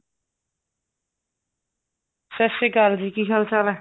ਸਤਿ ਸ਼੍ਰੀ ਅਕਾਲ ਜੀ ਕੀ ਹਾਲ ਚਾਲ ਹੈ